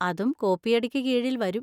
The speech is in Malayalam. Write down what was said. അതും കോപ്പിയടിക്ക് കീഴിൽ വരും.